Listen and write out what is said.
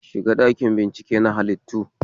Shiga ɗakin bincike na halittu